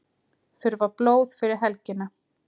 Þurfa blóð fyrir helgina